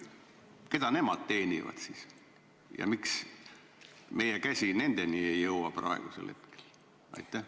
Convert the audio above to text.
Keda nemad siis teenivad ja miks meie käsi nendeni praegu ei jõua?